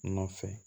Nɔfɛ